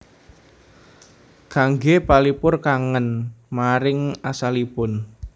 Kangge palipur kangen maring asalipun